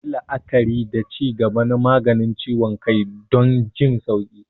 Yi la'akari da ci gaba na maganin ciwon kai don jin sauƙi.